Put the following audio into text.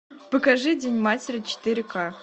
покажи день матери четыре к